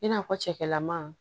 I n'a fɔ cɛkɛlɛma